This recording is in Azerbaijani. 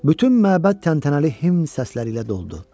Bütün məbəd təntənəli himn səsləri ilə doldu.